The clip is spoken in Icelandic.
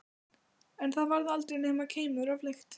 En það varð aldrei nema keimur af lykt.